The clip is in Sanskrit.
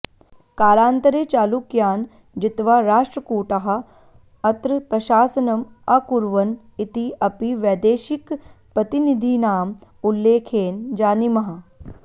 कालान्तरे चालुक्यान् जित्वा राष्ट्रकूटाः अत्र प्रशासनम् अकुर्वन् इति अपि वैदेशिकप्रतिनिधीनाम् उल्लेखेन जानीमः